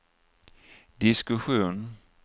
diskussion